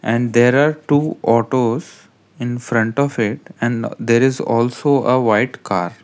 and there are two autos in front of it and there is also a white car.